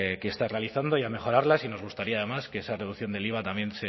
que está realizando y a mejorarlas y nos gustaría además que esa reducción del iva también